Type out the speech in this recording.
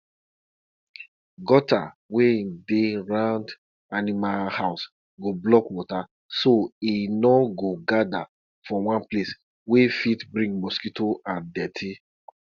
na sacrifice dey bring peace for us na goat we dey use take do rituals so dat fight no go dey.